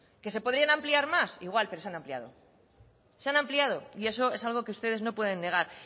que se podrían ampliar más igual pero se han ampliado se han ampliado y eso es algo que ustedes no pueden negar